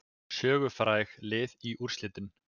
Sögufræg lið í úrslitin